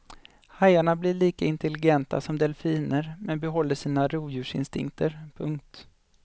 Hajarna blir lika intelligenta som delfiner men behåller sina rovdjursinstinkter. punkt